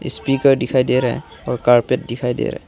speaker दिखाई दे रहा और कारपेट दिखाई दे रहा--